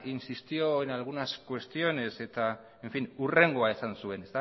insistió en algunas cuestiones eta hurrengoa esan zuen